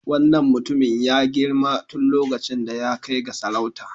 Wannan mutumin ya girma tun lokacin da ya kai ga sarauta.